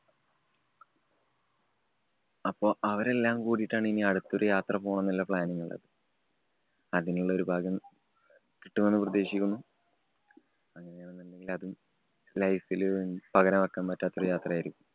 അപ്പൊ അവരെല്ലാം കൂടിട്ടാണ് ഇനി അടുത്ത ഒരു യാത്ര പോണം എന്നുള്ള planning ഉള്ളത്. അതിനുള്ള ഒരു ഭാഗ്യം കിട്ടുമെന്ന് പ്രതീക്ഷിക്കുന്നു. അങ്ങനെയാണെന്നുണ്ടെങ്കില്‍ അതും life ല് പകരം വയ്ക്കാന്‍ പറ്റാത്ത ഒരു യാത്രയായിരിക്കും.